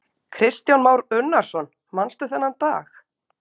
Kristján Már Unnarsson: Manstu þennan dag?